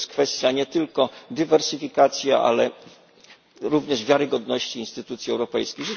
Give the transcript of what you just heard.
Jest to kwestia nie tylko dywersyfikacji, ale również wiarygodności instytucji europejskich.